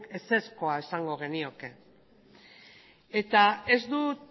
ezezkoa esango genioke ez dut